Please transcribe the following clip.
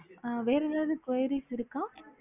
அஹ் வேற எதாவது enquires இருக்கா